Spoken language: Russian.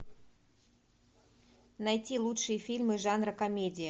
найти лучшие фильмы жанра комедия